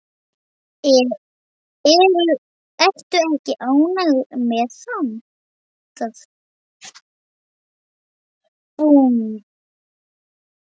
Ertu ekki ánægð með það?